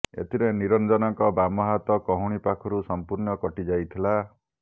ଏଥିରେ ନିରଂଜନଙ୍କ ବାମ ହାତ କହୁଣୀ ପାଖରୁ ସଂପୂର୍ଣ୍ଣ କଟିଯାଇଥିଲା